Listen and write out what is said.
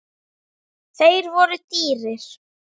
Þeir voru dýrir.